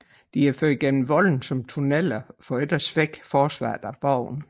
De er ført gennem volden som tunneler for ikke at svække forsvaret af borgen